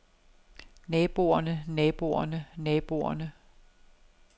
naboerne naboerne naboerne